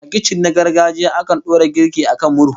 A kicin na gargajiya, akan dora girki a kan murhu